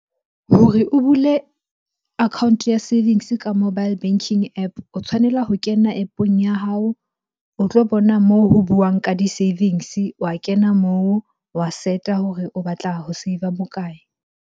Hore o bule account-o ya savings ka mobile banking App. O tshwanela ho kena App-ong ya hao, o tlo bona moo ho buwang ka di-savings-e. Wa kena moo, wa set-a hore o batla ho save-a bokae?